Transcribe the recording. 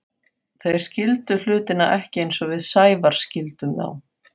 Þeir skildu hlutina ekki eins og við Sævar skildum þá.